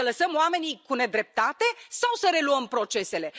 Să lăsăm oamenii cu nedreptate sau să reluăm procesele?